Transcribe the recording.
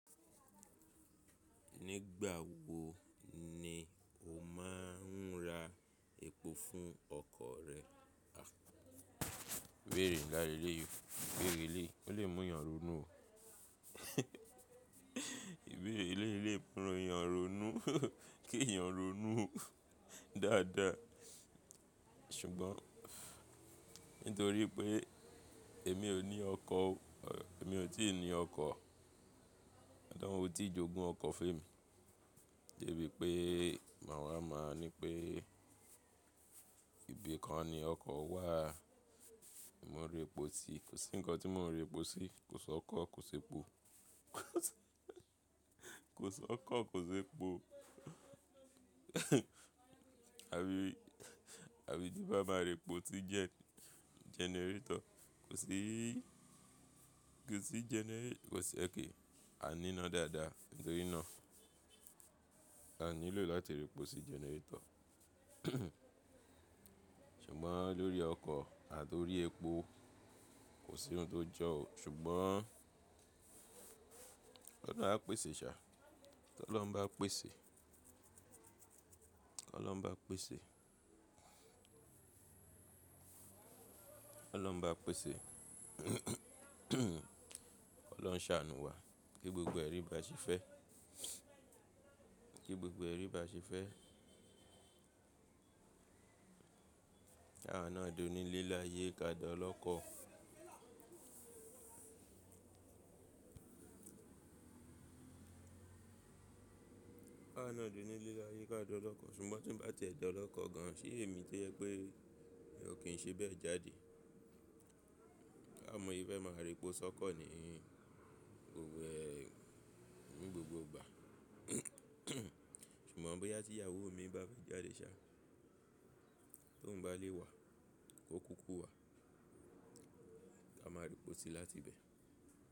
Nígbà wo ni o máa ń ra epo fún ọkọ̀ rẹ? Ìbéèrè nla leleyii, ìbéèrè eleyi, o le múyàn ronú o. Ìbéèrè eleyi le mú èèyàn ronú, kí èèyàn ronú dáadáa. Ṣùgbọ́n nítorí pé èmi ò ní ọkọ̀ o, èmi ò tí ì ní ọkọ̀. Ọlọrun o tí jogun ọkọ̀ fé mi dẹ bí i pé mawa máa nipé ìbì kan ni ọkọ̀ wà. Èmi ò ń repo si, kò sí ńǹkan tí mo ń repo sí. Kò sí ọkọ̀, kò sí epo. Kò sí ọkọ̀, kò sí epo. Àbí, àbí tí n bá máa repo sí gen, generator, kò sí í, kò sí genera-- kò sí, a n nína dáadáa nítorí náà. A nílò láti repo sí generator. Ṣùgbọ́n lórí ọkọ̀ àti orí epo kò sí ohun tó jọ́ o. Ṣùgbọ́n, Ọlọ́run a pèsè, ṣá. Kí Ọlọ́run bá pèsè. Kí Ọlọ́run bá pèsè. Kí Ọlọ́run bá pèsè. Ọlọ́run ṣàánú wa kí gbogbo ẹ̀ rí ba ṣe fẹ́. Kí gbogbo ẹ̀rí ba ṣe fẹ́. Kawa náà dó nile laye, ká dá ọlọ́kọ. Kawa náà dóni ile laye ká dá ọlọ́kọ. Ṣùgbọ́n tí ń bá ti ẹ dá ọlọ́kọ gan an, ṣé èmi to jẹ́ pé mi ò kí ń ṣe bẹ́ẹ̀ jáde. Ba mo ni mo ṣe fẹ́ máa repo sọ́kọ̀ ni, òwe ní gbogbo ìgbà. Ṣùgbọ́n bóyá tí ìyàwó mi bá fẹ́ jáde sá, tó ń bá lé wa, ko kúkú wà, a máa repo sí láti ibẹ̀.